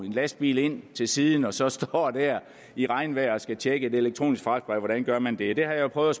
lastbil ind til siden og så står der i regnvejr og skal tjekke et elektronisk fragtbrev hvordan gør man det det har jeg prøvet